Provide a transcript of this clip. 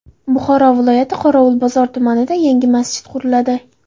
Buxoro viloyati Qorovulbozor tumanida yangi masjid quriladi.